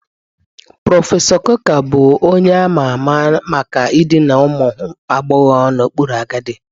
Prọfesọ Coker bụ onye a ma ama maka idina ụmụ agbọghọ n'okpuru agadi